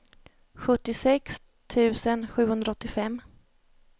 sjuttiosex tusen sjuhundraåttiofem